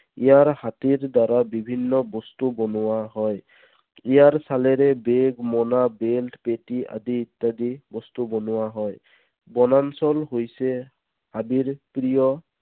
ইয়াৰ হাতীৰ দ্বাৰা বিভিন্ন বস্তু বনোৱা হয়। ইয়াৰ ছালেৰে bag, মোনা, belt পেটী আদি ইত্যাদি বস্তু বনোৱা হয়। বনাঞ্চল হৈছে হাবিৰ প্ৰিয়